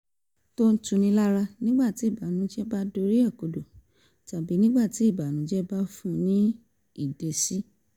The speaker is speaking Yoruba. tó ń tuni lára nígbà tí ìbànújẹ́ bá dorí rẹ̀ kodò tàbí nígbà tí ìbànújẹ́ bá fun ní ìdẹ́yẹsí